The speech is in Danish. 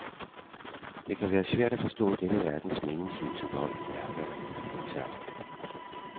Det kan være svært at forstå denne verdens meningsløse vold, hærværk og terror.